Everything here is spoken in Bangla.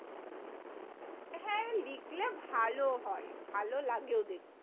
হ্যাঁ, লিখলে ভালো হয়। ভালো লাগেও দেখতে।